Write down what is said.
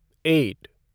eight